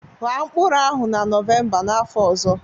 Ghaa mkpụrụ ahụ na Nọvemba n'afọ ọzọ